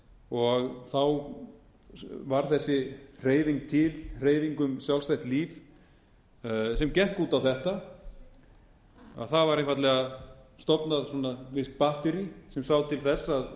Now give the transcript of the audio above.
og þá var þessi hreyfing til hreyfing um sjálfstætt líf sem gekk út á þetta að það var einfaldlega stofnað visst batterí sem sá til þess